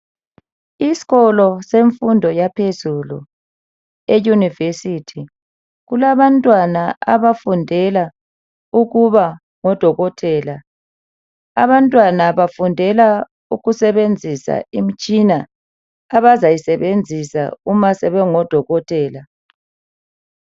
Isikolo semfundo yaphezulu eYunivesithi kulabantwana abafundela ukuba ngodokotela abantwana bafundela ukusebenzisa imitshina abayisebenzisa uma sebengo dokotela.